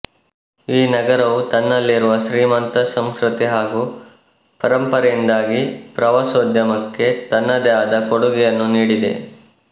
ಈ ನಗರವು ತನ್ನಲ್ಲಿರುವ ಶ್ರೀಮಂತ ಸಂಸ್ಕೃತಿ ಹಾಗು ಪರಂಪರೆಯಿಂದಾಗಿ ಪ್ರವಾಸೋದ್ಯಮಕ್ಕೆ ತನ್ನದೆ ಆದ ಕೊಡುಗೆಯನ್ನು ನೀಡಿದೆ